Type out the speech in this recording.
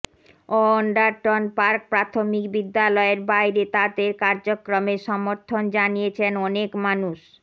Anderton park প্রাথমিক বিদ্যালয়ের বাইরে তাদের কার্যক্রমের সমর্থন জানিয়েছেন অনেক মানুষ